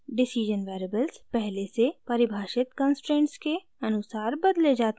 decision variables पहले से परिभाषित कन्स्ट्रेंट्स के अनुसार बदले जाते हैं